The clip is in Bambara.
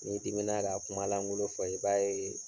N'i dimin na ka kuma langolo fɔ i b'a ye